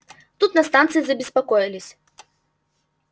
тут на станции забеспокоились